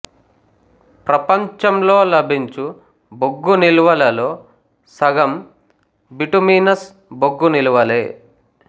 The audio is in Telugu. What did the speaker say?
ప్రపంచంలో లభించు బొగ్గు నిల్వలలో సగం బిటుమినస్ బొగ్గు నిల్వలే